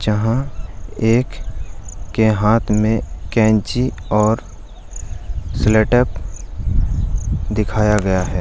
जहाँ एक के हाथ में कैंची और सेलो टेप दिखाया गया है ।